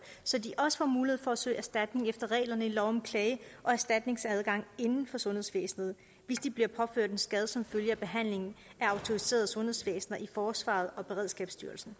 så de også får mulighed for at søge erstatning efter reglerne i lov om klage og erstatningsadgang inden for sundhedsvæsenet hvis de bliver påført en skade som følge af behandlingen af autoriserede sundhedsvæsener i forsvaret og beredskabsstyrelsen